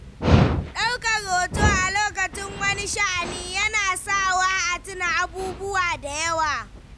Daukar hoto a lokacin wani sha'ani yana sawa a tuna abubuwa da yawa.